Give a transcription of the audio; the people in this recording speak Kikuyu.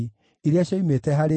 na cia Zatu ciarĩ 845